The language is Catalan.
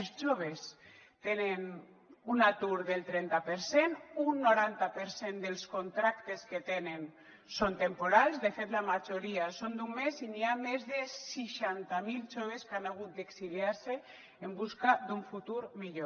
els joves tenen un atur del trenta per cent un noranta per cent dels contractes que tenen són temporals de fet la majoria són d’un mes i hi ha més de seixanta mil joves que han hagut d’exiliar se en busca d’un futur millor